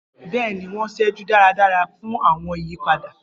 Bẹẹni, wọn seju daradara fun awọn iyipada.